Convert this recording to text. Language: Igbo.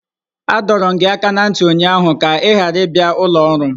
Adọrum gi aka na nti ụnyaahụ ka ị ghara ịbịa ụlọ ọrụ m!